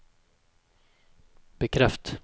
bekreft